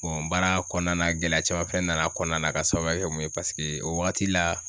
baara kɔnɔna na gɛlɛya caman fɛnɛ nana kɔnɔna na ka sababuya kɛ mun ye o wagati la